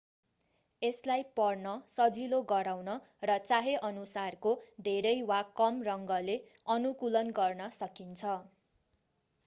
यसलाई पढ्न सजिलो गराउन र चाहेअनुसारको धेरै वा कम रङले अनुकूलन गर्न सकिन्छ